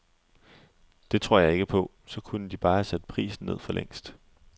Det tror jeg ikke på, så kunne de bare have sat prisen ned forlængst.